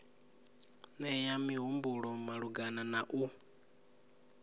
nea mihumbulo malugana na u